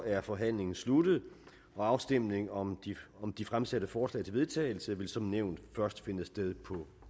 er forhandlingen sluttet afstemning om om de fremsatte forslag til vedtagelse vil som nævnt først finde sted på